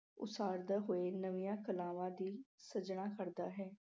ਉਸਾਰਦੇ ਹੋਏ ਨਵੀਆਂ ਕਲਾਵਾਂ ਦੀ ਸਿਰਜਣਾ ਕਰਦਾ ਹੈ।